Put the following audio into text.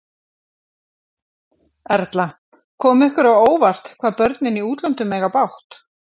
Erla: Kom ykkur á óvart, hvað börnin í útlöndum eiga bágt?